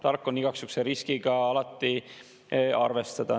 Tark on igaks juhuks selle riskiga alati arvestada.